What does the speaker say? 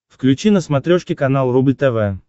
включи на смотрешке канал рубль тв